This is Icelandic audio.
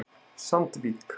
Sandvík